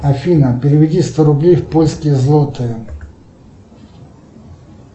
афина переведи сто рублей в польские злотые